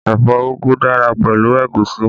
Ẹ̀fọ́ úgú dára pẹ̀lú ẹ̀gúsí